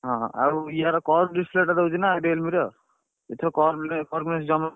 ହଁ ଆଉ ଇଆର cost ଦଉଛି ନା Realme ର। ଏଥିରେ ।